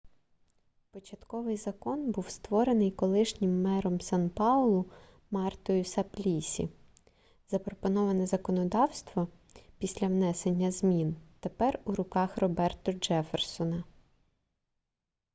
початковий закон був створений колишнім мером сан-паулу мартою саплісі запропоноване законодавство після внесення змін тепер у руках роберто джефферсона